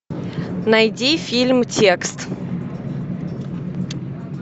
найди фильм текст